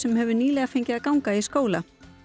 hefur nýlega fengið að ganga í skóla